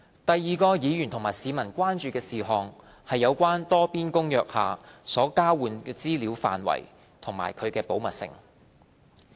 第二個議員和市民關注事項是有關《多邊公約》下所交換的資料範圍及其保密性。